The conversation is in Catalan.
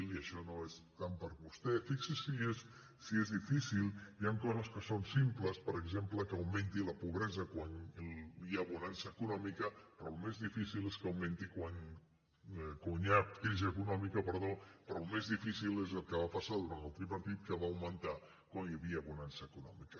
i això no és tant per a vostè fixi’s si és difícil hi ha coses que són simples per exemple que augmenti la pobresa quan hi ha crisi econòmica però el més difícil és el que va passar durant el tripartit que va augmentar quan hi havia bonança econòmica